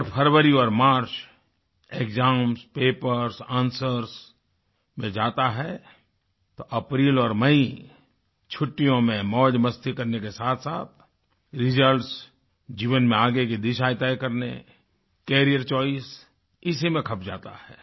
अगर फरवरी और मार्च एक्साम्स पेपर्स एंसवर्स में जाता है तो अप्रैल और मई छुट्टियों में मौज़मस्ती करने के साथसाथ रिजल्ट्स जीवन में आगे की दिशाएँ तय करने कैरियर चोइस इसी में खप जाता है